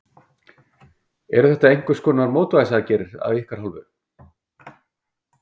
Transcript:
Eru þetta einhverskonar mótvægisaðgerðir af ykkar hálfu?